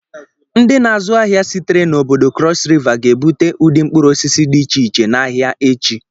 Ndị na-azụ ahịa sitere n'obodo cross river ga-ebute ụdị mkpụrụ osisi dị iche iche n'ahịa echi.